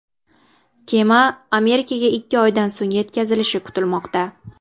Kema Amerikaga ikki oydan so‘ng yetkazilishi kutilmoqda.